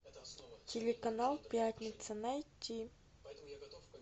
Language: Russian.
телеканал пятница найти